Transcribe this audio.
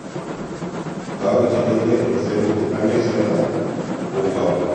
Kaweek chekailyo eng' seruut ak ng'esemta ko kabukwakik ab togoch chenaiyotin